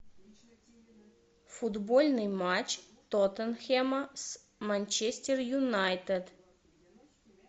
футбольный матч тоттенхэма с манчестер юнайтед